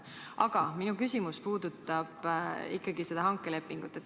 Aga minu küsimus puudutab ikkagi seda hankelepingut.